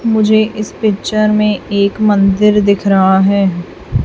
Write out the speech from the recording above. मुझे इस पिक्चर में एक मंदिर दिख रहा है।